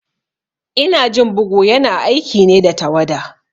Inajin bugu ya na aiki ne da tawada